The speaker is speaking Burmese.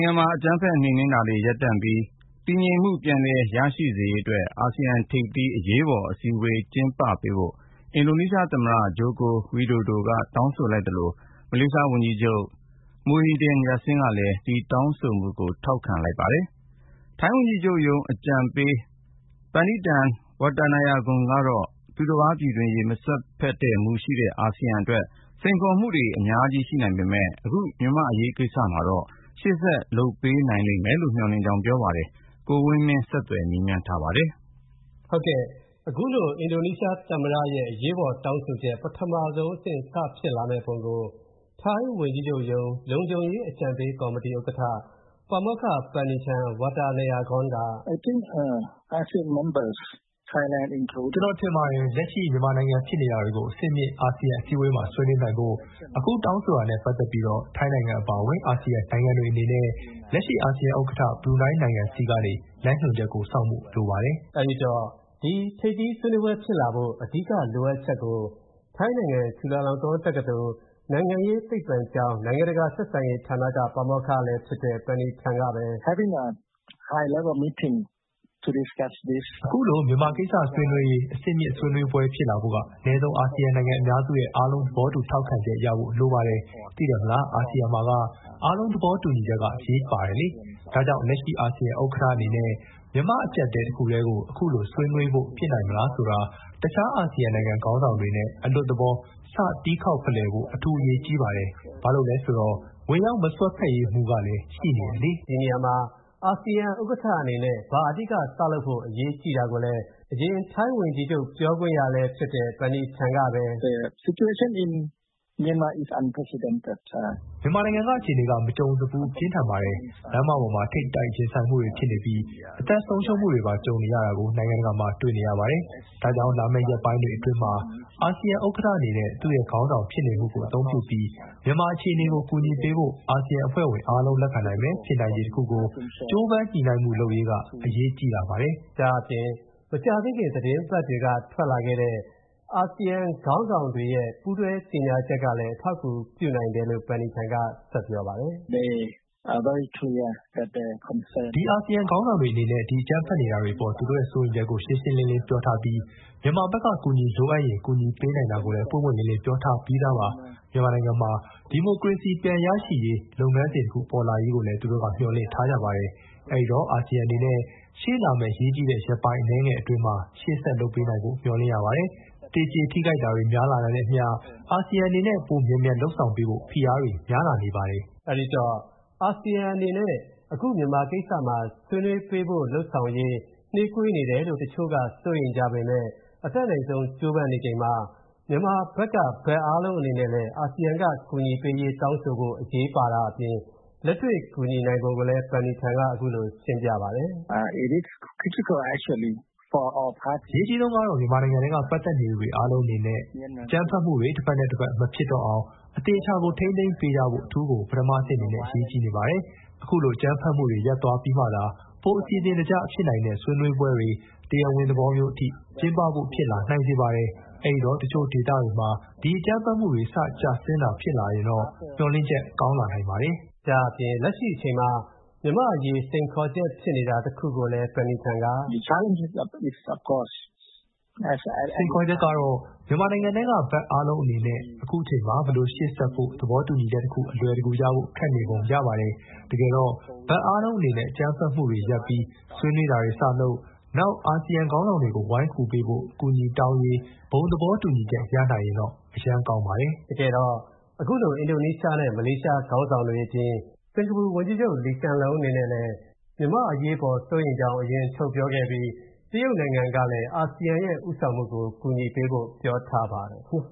်ငံမှာ အကြမ်းဖက်နှိမ်နင်းနေတာတွေ ရပ်တန့်ပြီး၊ ပြန်တည်ငြိမ်မူရေ စေရေးအတွက် အာဆီယံထိပ်သီး အရေးပေါ်အစည်းအဝေးကျင်းပပေးဖို့ အင်ဒိုနီးရှားသမ္မတ ဂျိုကိုဝီဒိုဒို တောင်းဆိုလိုက်သလို မလေးရှားဝန်ကြီးချုပ် Tan Sri Dato' Haji Muhyiddin bin Haji Muhammad Yassin ကလည်း ဒီတောင်းဆိုမှုကို ထောက်ခံလိုက်ပါတယ်။ ထိုင်းဝန်ကြီးချုပ်ရုံး အကြံပေး Panitan Wattanayagorn ကတော့ သူတပါးပြည်တွင်းရေး ဝင်မစွက်တဲ့ မူရှိနေတဲ့ အာဆီယံအတွက် စိန်ခေါ်မှုတွေ အများကြီး ရှိနိုင်ပေမယ့် အခုမြန်မာနိုင်ငံ့အရေးမှာတော့ ရက်ပိုင်းအတွင်း ရှေ့ဆက်လုပ်ပေးနိုင်မယ်လို့ မျှော်လင့်ကြောင်း ပြောပါတယ်။ ကိုဝင်းမင်းက ဆက်သွယ်မေးမြန်းထားပါတယ်။ အခုလို အင်ဒိုနီးရှားသမ္မတ အရေးပေါ် တောင်းဆိုချက် ပထမဆုံးအဆင့် စဖြစ်လာပုံကို ထိုင်းဝန်ကြီးချုပ်ရုံး လုံခြုံရေး အကြံပေး ကော်မတီဥက္ကဋ္ဌ ပါမောက္ခ Panitan Wattanayagorn က “ကျွန်တော်ထင်ပါတယ်၊ လက်ရှိမြန်မာနိုင်ငံထဲဖြစ်နေတာတွေကို အဆင့်မြင့် အာဆီယံအစည်းအဝေးမှာ ဆွေးနွေးနိုင်ဖို့ အခု တောင်းဆိုတာနဲ့ပတ်သက်ပြီးတော့၊ ထိုင်းနိုင်ငံအပါအဝင် အာဆီယံနိုင်ငံတွေအနေနဲ့၊ လက်ရှိအာဆီယံ ဥက္ကဌ ဘရူနိုင်းနိုင်ငံဆီကနေ လမ်းညွှန်ချက်ကို စောင့်ဖို့လိုပါတယ်။” အဲဒီတော့ ဒီထိပ်သီးဆွေးနွေးပွဲ ဖြစ်လာဖို့ အဓိက လိုအပ်ချက်ကို ထိုင်းနိုင်ငံ Chulalongkorn တက္ကသိုလ် ၊ နိုင်ငံရေးသိပ္ပံကျောင်း နိုင်ငံတကာဆက်ဆံရေးဌာနက ပါမောက္ခလည်းဖြစ်တဲ့ Panitan ကပဲ “အခုလို မြန်မာကိစ္စဆွေးနွေးရေး အဆင့်မြင့်ဆွေးနွေးပွဲဖြစ်လာဖို့က၊ အနည်းဆုံး အာဆီယံနိုင်ငံအများစုရဲ့ အားလုံးသဘောတူထောက်ခံချက်ရဖို့ လိုပါတယ်။ သိတယ်မလား အာဆီယံမှာက အားလုံးသဘောတူချက်က အရေးပါတယ်လေ။ ဒါ့ကြောင့် လက်ရှိအာဆီယံဥက္ကဌအနေနဲ့ မြန်မာအကြပ်အတည်းကို ခုလိုဆွေးနွေးဖို့ဖြစ်နိုင်မလားဆိုတာ၊ တခြား အာဆီယံနိုင်ငံခေါင်းဆောင်တွေနဲ့ အလွတ်သဘော စ တီးခေါက်ဖလှယ်ဖို့ အထူးအရေးကြီးပါတယ်။ ဘာလို့လဲဆိုတော့ ဝင်ရောက်မစွက်ဖက်ရေးမူကလည်း ရှိနေတယ်လေ။” ဒီနေရာမှာ အာဆီယံဥက္ကဋ္ဌအနေနဲ့ ဘာအဓိက စလုပ်ဖို့ အရေးကြီးတာကိုလည်း အရင်ထိုင်းဝန်ကြီးချုပ် ပြောခွင့်ရလည်းဖြစ်တဲ့ Panitan ကပဲ “မြန်မာနိုင်ငံက အခြေအနေက မကြုံစဖူး ပြင်းထန်ပါတယ်။ လမ်းမပေါ်မှာ ထိပ်တိုက်ရင်ဆိုင်မူတွေဖြစ်နေပြီး အသက်ဆုံးရှုံးမူတွေပါ ကြုံနေရတာကို နိုင်ငံတကာမှာ တွေ့နေရပါတယ်။ ဒါကြောင့် လာမယ့် ရက်ပိုင်းတွေအတွင်းမှာ အာဆီယံဥက္ကဌအနေနဲ့ သူ့ရဲ့ခေါင်းဆောင်ဖြစ်နေမူကို အသုံးပြုပြီး မြန်မာအခြေအနေကို ကူညီပေးဖို့၊ အာဆီယံအဖွဲ့ဝင် အားလုံးလက်ခံနိုင်မယ့် ဖြစ်နိုင်ချေတစ်ခုကို ကြိုးပမ်းညှိုနှိုင်းလုပ်ဆောင်ရေးက အရေးကြီးလာပါတယ်။” ဒါ့အပြင် မကြာသေးခင် သတင်းပတ်တွေက ထွက်လာခဲ့တဲ့ အာဆီယံ ခေါင်းဆောင်တွေရဲ့ ပူးတွဲကြေညာချက်ကလည်း အထောက်အကူပြုနိုင်တယ်လို့ Panitan ကဆက်ပြီး ပြောပါတယ်။ “ဒီအာဆီယံခေါင်းဆောင်တွေအနေနဲ့ ဒီအကြမ်းဖက်နေတာတွေအပေါ် သူတို့ရဲ့ စိုးရိမ်ချက်ကို ရှင်းရှင်းလင်းပြောထားပြီး၊ မြန်မာဘက်က အကူအညီလိုအပ်ရင် ကူညီပေးနိုင်တာကိုလည်း ပွင့်ပွင့်လင်းလင်း ပြောထားပြီးသားပါ။ မြန်မာနိုင်ငံမှာ ဒီမိုကရေစီပြန်ရှိလာရေး လုပ်ငန်းတစ်ခုဖြစ်ပေါ်လာရေးကိုလည်း သူတို့မျှော်လင့်ထားကြပါတယ်။ အဲ့ဒိတော့ အာဆီယံအနေနဲ့ ရှေ့လာမယ့် အရေးကြီးတဲ့ ရက်ပိုင်းအနည်းငယ်အတွင်းမှာ ရှေ့ဆက်လုပ်ပေးနိုင်ဖို့ မျှော်လင့်ရပါတယ်။ သေကျေထိခိုက်မူဆက်တွေများလာတာနဲ့အမျှ၊ အာဆီယံအနေနဲ့ ပိုမြန်မြန်လုပ်ဆောင်ပေးဖို့ ဖိအားတွေများလာနေပါတယ်။” အဲဒီတော့ အာဆီယံအနေနဲ့ အခု မြန်မာကိစ္စမှာ ဆွေးနွေးပေးဖို့ လုပ်ဆောင်ရေး နှေးကွေးနေတယ်လို့ တချို့က စိုးရိမ်ကြပေမယ့် အတတ်နိုင်ဆုံး ကြိုးပမ်းနေချိန်မှာ မြန်မာဘက်က ဘက်အားလုံးအနေနဲ့လည်း အာဆီယံက ကူညီပေးရေး တောင်းဆိုဖို့ အရေးပါတာအပြင် လက်တွေ့ ကူညီနိုင်ဖို့လည်း Panitan က အခုလို ရှင်းပြပါတယ်။ “အရေးကြီးဆုံးကတော့ မြန်မာနိုင်ငံထဲက ပတ်သက်နေသူအားလုံးအနေနဲ့၊ အကြမ်းဖက်မူတွေ တစ်ဖက်နဲ့ တစ်ဖက်မဖြစ်တော့အောင်၊ အသေအချာကို ထိန်းသိမ်းပေးကြဖို့ အထူးကို ပထမအဆင့် အနေနဲ့ အရေးကြီးနေပါတယ်။ အခုလို အကြမ်းဖက်မူတွေ ရပ်သွားပြီးမှသာ၊ ပို အစီအစဉ်တကျ ဖြစ်နိုင်တဲ့ ဆွေးနွေးပွဲတွေ တရားဝင်သဘောမျိုးအထိ၊ ကျင်းပဖို့ဖြစ်လာနိုင်စေပါတယ်။ အဲ့ဒိတော့ အခုတချို့ဒေသတွေမှာ ဒီအကြမ်းဖက်မူတွေ စကျဆင်းတာ ဆက်ဖြစ်လာရင်တော့၊ မျှော်လင့်ချက်ကောင်းလာနိုင်ပါတယ်။” ဒါ့အပြင် လက်ရှိအချိန်မှာ မြန်မာ့အရေး စိန်ခေါ်ချက်ဖြစ်နေတာ တခုကိုလည်း Panitan က “စိန်ခေါ်ချက်ကတော့ မြန်မာနိုင်ငံထဲက၊ ဘက်အားလုံးအနေနဲ့၊ အခုအချိန်မှာ ဘယ်လိုရှေ.ဆက်ဖို့ သဘောတူချက်တခု အလွယ်တကူရဖို့ ခက်နေပုံ ရပါတယ်။ တကယ်တော့၊ ဘက်အားလုံးအနေနဲ့ အကြမ်းဖက်မူတွေရပ်ပြီး၊ ဆွေးနွေးတာတွေစလုပ်၊ နောက် အာဆီယံခေါင်းဆောင်တွေကို ဝိုင်းကူပေးဖို့ အကူအညီတောင်းရေး ဘုံသဘောတူချက်ရနိုင်ရင်တော့ အရမ်းကောင်းပါတယ်။” တကယ်တော့ အခုလို အင်ဒိုနီးရှားနဲ့ မလေးရှားခေါင်းဆောင်တွေအပြင် စင်္ကာပူဝန်ကြီးချုပ် Lee Hsien Loong အနေနဲ့လည်း မြန်မာ့အရေးအပေါ် စိုးရိမ်ကြောင်း အရင်ထုတ်ပြောခဲ့ပြီး တရုတ်နိုင်ငံကလည်း အာဆီယံရဲ့ ဦးဆောင်မှုကို အကူအညီပေးဖို့ ပြောထားပါတယ်။